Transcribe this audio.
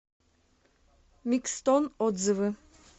микстон отзывы